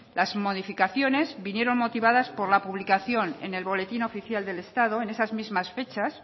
las modificaciones vinieron motivadas por la publicación en el boletín oficial del estado en esas mismas fechas